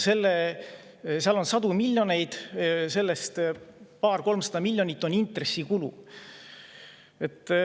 Seal on sadu miljoneid ja sellest paar-kolmsada miljonit on intressikulu.